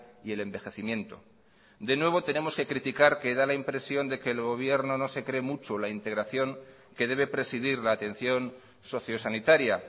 y el envejecimiento de nuevo tenemos que criticar que da la impresión de que el gobierno no se cree mucho la integración que debe presidir la atención socio sanitaria